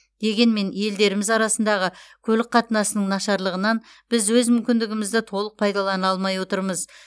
дегенмен елдеріміз арасындағы көлік қатынасының нашарлығынан біз өз мүмкіндігімізді толық пайдалана алмай отырмыз